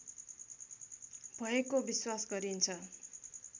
भएको विश्वास गरिन्छ